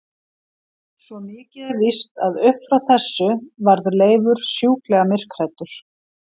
Svo mikið er víst að upp frá þessu varð Leifur sjúklega myrkhræddur.